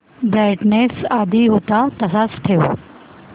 brightness आधी होता तसाच ठेव